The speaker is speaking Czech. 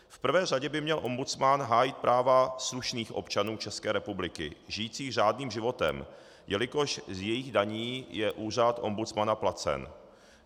V prvé řadě by měl ombudsman hájit práva slušných občanů České republiky žijících řádným životem, jelikož z jejich daní je úřad ombudsmana placen.